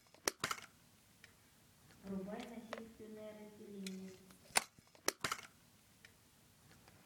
врубай насильственное разделение